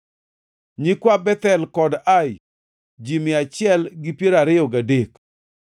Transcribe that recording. nyikwa Bethel kod Ai, ji mia achiel gi piero ariyo gadek (123),